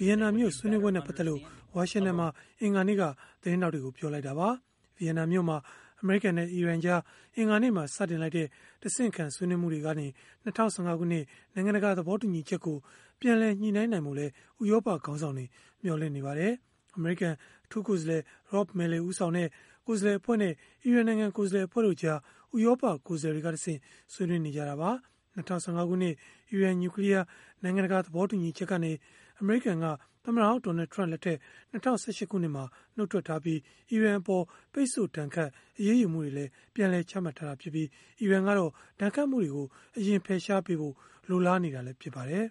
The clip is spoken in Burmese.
Vienna မြို့ဆွေးနွေးပွဲနဲ့ ပတ်သက်လို့ ဝါရှင်တန်မှာ အင်္ဂါနေ့က သတင်းထောက်တွေကို ပြောခဲ့တာပါ။ Vienna မြို့မှာ အမေရိကန်နဲ့ အီရန်ကြား အင်္ဂါနေ့မှာ စတင်လိုက်တဲ့ တဆင့်ခံဆွေးနွေးမှုတွေကနေ ၂၀၁၅ ခုနှစ် နိုင်ငံတကာ သဘောတူညီချက်ကို ပြန်လည်ညှိနှိုင်းနိုင်ဖို့လည်း ဥရောပခေါင်းဆောင်တွေ မျှော်လင့်နေကြပါတယ်။ အမေရိကန် အထူးကိုယ်စားလှယ် Rob Malley ဦးဆောင်တဲ့ ကိုယ်စားလှယ်အဖွဲ့နဲ့ အီရန်နိုင်ငံကိုယ်စားလှယ်အဖွဲ့ကြား ဥရောပကိုယ်စားလှယ်တွေကတဆင့် ဆွေးနွေးနေတာပါ။ ၂၀၁၅ ခုနှစ် အီရန်နျူကလီယား နိုင်ငံတကာ သဘောတူညီချက်ကနေ အမေရိကန်က သမ္မတဟောင်း Donald Trump လက်ထက် ၂၀၁၈ ခုနှစ်မှာ နုတ်ထွက်ထားပြီး၊ အီရန်အပေါ် ပိတ်ဆို့ဒဏ်ခတ် အရေးယူမှုတွေလည်း ပြန်လည်ချမှတ်ထားတာဖြစ်ပြီး၊ အီရန်ကတော့ ဒဏ်ခတ်မှုတွေကို အရင်ဖယ်ရှားပေးဖို့ လိုလားနေတာ ဖြစ်ပါတယ်။